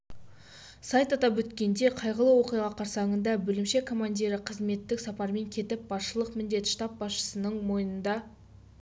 сайт атап өткендей қайғылы оқиға қарсаңында бөлімше командирі қызметтік сапармен кетіп басшылық міндет штаб басшысының мойнында